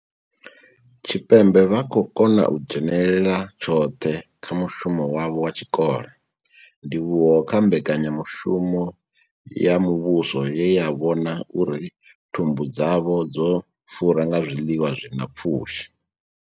Tshipembe vha khou kona u dzhenela tshoṱhe kha mushumo wavho wa tshikolo, ndivhuwo kha mbekanya mushumo ya muvhuso ye ya vhona uri thumbu dzavho dzo fura nga zwiḽiwa zwi na pfushi.